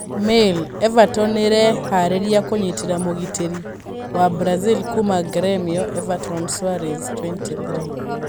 (Mail) Everton nĩ ĩreharĩirie kũnyiita mũgitĩri wa Brazil kuuma Gremio, Everton Soares, 23.